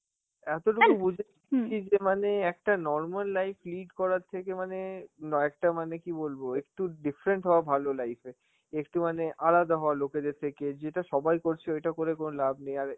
এতোটুকু বুঝে ছি যে মানে একটা normal life lead করার থেকে মানে নয়একটা~ মানে কি বলবো, একটু different হওয়া ভালো life এ, একটু মানে আলাদা হওয়া লোকেদের থেকে, যেটা সবাই করছে ওইটা করে কোনো লাভ নেই আরে